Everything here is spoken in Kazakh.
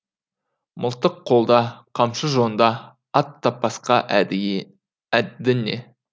мылтық қолда қамшы жонда ат таппасқа әдді не